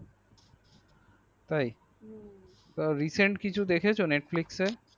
তাই recent কিছু দেখছো netflix এ